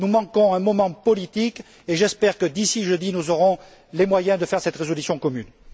Nous manquons un moment politique et j'espère que d'ici jeudi, nous aurons les moyens de faire cette résolution commune.